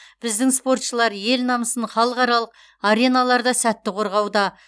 біздің спортшылар ел намысын халықаралық ареналарда сәтті қорғауда